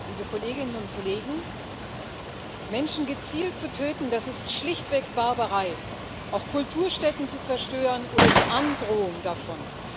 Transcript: Frau Präsidentin, liebe Kolleginnen und Kollegen! Menschen gezielt zu töten, das ist schlichtweg Barbarei. Auch Kulturstätten zu zerstören oder die Androhung davon.